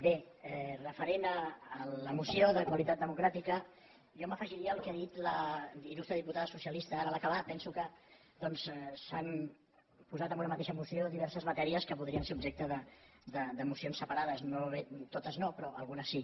bé referent a la moció de qualitat democràtica jo m’afegiria al que ha dit la il·lustre diputada socialista ara a l’acabar penso que doncs s’han posat en una mateixa moció diverses matèries que podrien ser objecte de mocions separades totes no però algunes sí